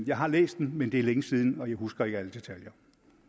jeg har læst den men det er længe siden og jeg husker ikke alle detaljer